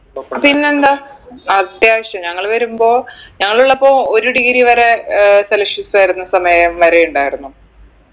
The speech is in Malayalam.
പിന്നെന്താ അത്യാവശ്യം ഞങ്ങൾ വരുമ്പോ ഞങ്ങളുള്ളപ്പോ ഒരു degree വരെ ഏർ celsius ആയിരുന്ന സമയം വരെ ഇണ്ടാരുന്നു